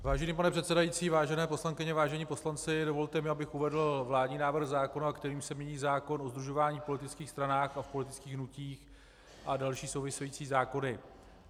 Vážený pane předsedající, vážené poslankyně, vážení poslanci, dovolte mi, abych uvedl vládní návrh zákona, kterým se mění zákon o sdružování v politických stranách a v politických hnutích a další související zákony.